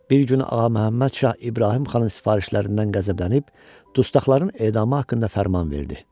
Bir gün Ağaməhəmməd şah İbrahim xanın sifarişlərindən qəzəblənib, dustaqların edamı haqqında fərman verdi.